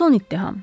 Son ittiham.